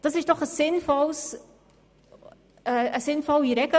Dies ist eine sinnvolle Regelung!